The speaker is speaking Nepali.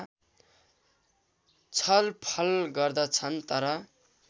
छलफल गर्दछन् तर